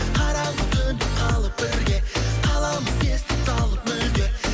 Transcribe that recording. қараңғы түнде қалып бірге қаламыз естен талып мүлде